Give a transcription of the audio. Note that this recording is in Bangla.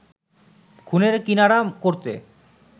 খুনের কিনারা করতে